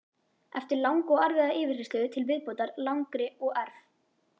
Eftir langa og erfiða yfirheyrslu til viðbótar langri og erf